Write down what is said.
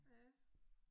Ja